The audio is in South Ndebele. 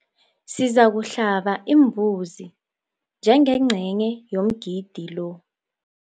Sizakuhlaba imbuzi njengengcenye yomgidi lo.